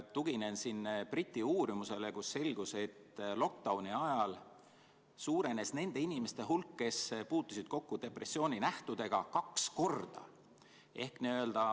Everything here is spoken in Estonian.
Tuginen siin Briti uurimusele, millest selgus, et lockdown'i ajal suurenes nende inimeste hulk, kes puutusid kokku depressiooninähtudega, kaks korda.